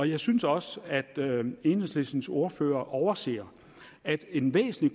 jeg synes også at enhedslistens ordfører overser at en væsentlig